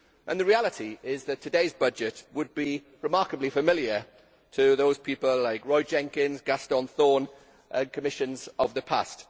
The reality is that today's budget would be remarkably familiar to people like Roy Jenkins, Gaston Thorn and Commissions of the past.